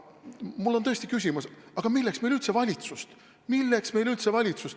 Mul on tõesti küsimus: aga milleks meile üldse valitsus?